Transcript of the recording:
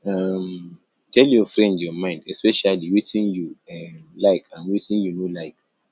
um tell your friend your mind especially wetin you um like and wetin you no like